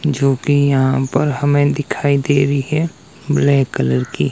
जो की यहां पर हमें दिखाई दे रही है ब्लैक कलर की --